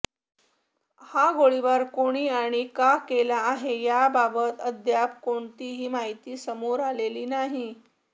हा गोळीबार कोणी आणि का केला आहे याबाबत अद्याप कोणतिही माहिती समोर आलेली नाही